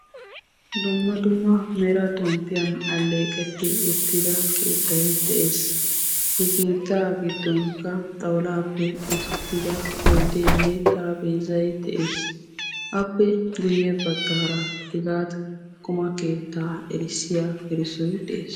Dumma dumma mera xomppiyan alleeqeti uttida keettay de'ees. He keettaa giddonkka xawullappe oosetida oyddenne xarapheezzay de'ees. Appe guyye baggaara hegaa qumaa keettaa erissiya erissoy de'ees.